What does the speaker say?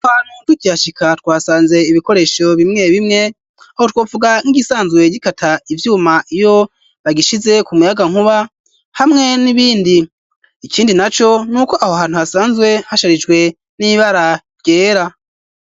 Tukihashika twasanze ibikoresho bimwe bimwe aho twovuga nk'igisanzwe gikata ivyuma iyo bagishize ku muyagankuba hamwe n'ibindi. Ikindi naco n'uko aho hantu hasanzwe hasharijwe n'ibara ryera.